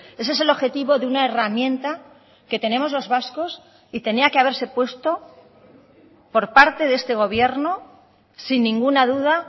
ese es el objetivo de una herramienta que tenemos los vascos y tenía que haberse puesto por parte de este gobierno sin ninguna duda